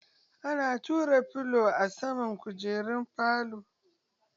Ana ɗora turo filo a saman kujerun falo.